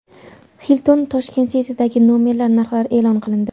Hilton Tashkent City’dagi nomerlar narxlari e’lon qilindi.